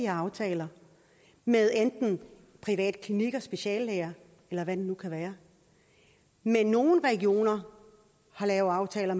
aftaler med enten private klinikker speciallæger eller hvad det nu kan være men nogle regioner har lavet aftaler